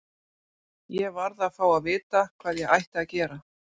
Ég varð að fá að vita hvað ég ætti að gera.